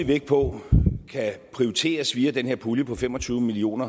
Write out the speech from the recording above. vægt på kan prioriteres via den her pulje på fem og tyve million